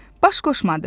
Baş qoşmadı.